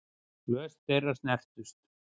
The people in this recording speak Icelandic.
Glös þeirra snertust.